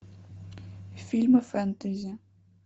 фильмы фэнтези